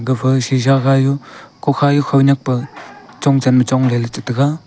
gafa shisha khayu kukha du khonyak pa chanchong ma chongley cha taga.